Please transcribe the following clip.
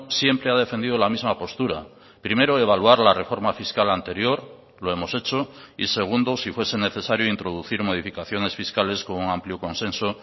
siempre ha defendido la misma postura primero evaluar la reforma fiscal anterior lo hemos hecho y segundo si fuese necesario introducir modificaciones fiscales con un amplio consenso